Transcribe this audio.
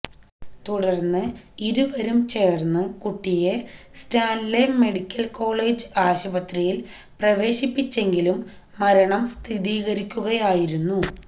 തുടർന്ന് ഇരുവരും ചേർന്ന് കുട്ടിയെ സ്റ്റാൻലെ മെഡിക്കൽ കോളേജ് ആശുപത്രിയിൽ പ്രവേശിപ്പിച്ചെങ്കിലും മരണം സ്ഥിരീകരിക്കുകയായിരുന്നു